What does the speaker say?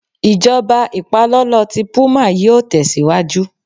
Ijọba ipalọlọ ti puma yíò tẹsiwaju